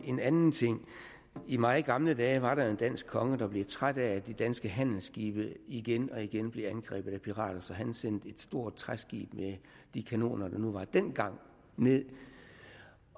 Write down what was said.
en anden ting i meget gamle dage var der en dansk konge der blev træt af at de danske handelsskibe igen og igen blev angrebet af pirater så han sendte et stort træskib med de kanoner der nu var dengang ned